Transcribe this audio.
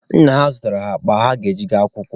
Nna ha zụtaara ha akpa ha ga-eji gaa akwụkwọ.